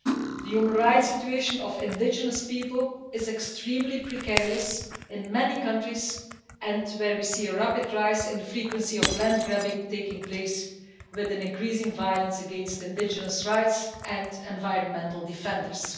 The human rights situation of indigenous people is extremely precarious in many countries and we see a rapid rise in the incidence of land grabbing, with increasing violence against indigenous rights and environmental defenders.